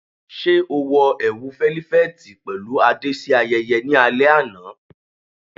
Ṣe o wọ ẹwu felifeti pẹlu ade si ayẹyẹ ni alẹ ana?